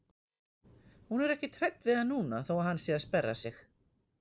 Hún er ekkert hrædd við hann núna þó að hann sé að sperra sig.